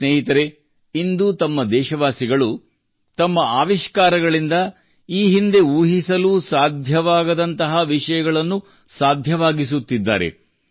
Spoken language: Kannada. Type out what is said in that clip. ಸ್ನೇಹಿತರೇ ಇಂದು ನಮ್ಮ ದೇಶವಾಸಿಗಳು ತಮ್ಮ ಆವಿಷ್ಕಾರಗಳಿಂದ ಈ ಹಿಂದೆ ಊಹಿಸಲೂ ಸಾಧ್ಯವಾಗದಂತಹ ವಿಷಯಗಳನ್ನು ಸಾಧ್ಯವಾಗಿಸುತ್ತಿದ್ದಾರೆ